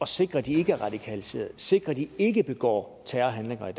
sikre at de ikke er radikaliseret sikre at de ikke begår terrorhandlinger i